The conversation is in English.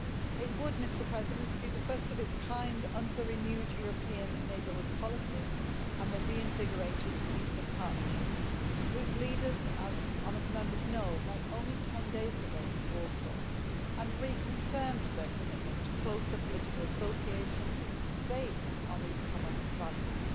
It would have been the first of its kind under the renewed European Neighbourhood Policy and the reinvigorated Eastern Partnership, whose leaders, as honourable Members know, met only 10 days ago in Warsaw and reconfirmed their commitment to closer political association based on these common values.